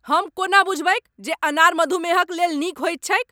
हम कोना बुझबैक जे अनार मधुमेहक लेल नीक होइत छैक ?